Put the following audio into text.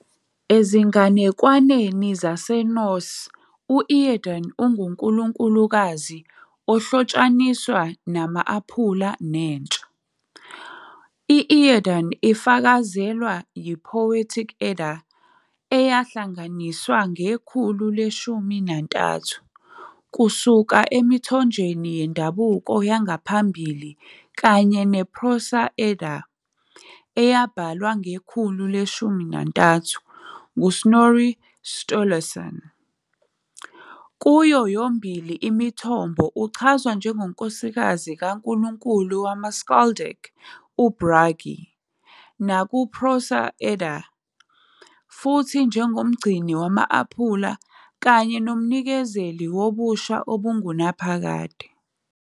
Ezinganekwaneni zaseNorse,u- Iðunn ungunkulunkulukazi ohlotshaniswa nama- apula nentsha. I-Iðunn ufakazelwa yi- "Poetic Edda", eyahlanganiswa ngekhulu le-13 kusuka emithonjeni yendabuko yangaphambili, kanye "neProse Edda", eyabhalwa ngekhulu le-13 nguSnorri Sturluson. Kuyo yomibili imithombo, uchazwa njengonkosikazi kankulunkulu wama-skaldic uBragi, naku- "Prose Edda", futhi njengomgcini wama-aphula kanye nomnikezeli wobusha obungunaphakade.